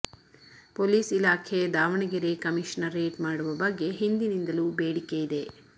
police ಇಲಾಖೆ Davanagere commissionerate ಮಾಡುವ ಬಗ್ಗೆ ಹಿಂದಿನಿಂದಲೂ ಬೇಡಿಕೆ ಇದೆ